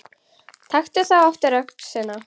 Taktu þá aftur öxina.